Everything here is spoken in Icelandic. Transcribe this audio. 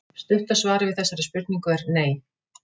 Stutta svarið við þessari spurningu er nei.